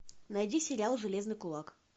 найди сериал железный кулак